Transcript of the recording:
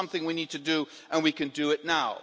This is something we need to do and we can do it now.